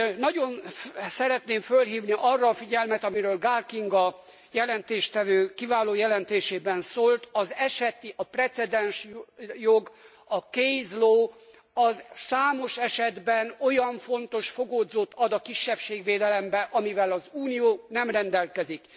Nagyon szeretném fölhívni arra a figyelmet, amiről Gál Kinga jelentéstevő kiváló jelentésében szólt, az eseti, a precedensjog, a case low, az számos esetben olyan fontos fogódzót ad a kisebbségvédelemben, amivel az Unió nem rendelkezik.